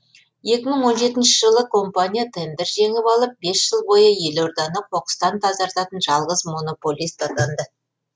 екі мың он жетінші жылы компания тендер жеңіп алып бес жыл бойы елорданы қоқыстан тазартатын жалғыз монополист атанды